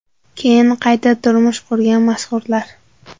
keyin qayta turmush qurgan mashhurlar.